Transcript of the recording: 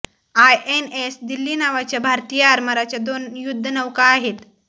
INS Delhi नावाच्या भारतीय आरमाराच्या दोन युद्धनौका आहेत